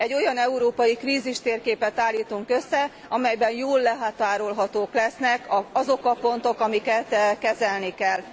Egy olyan európai krízistérképet állítunk össze, amelyben jól körülhatárolhatók lesznek azok a pontok, amelyeket kezelni kell.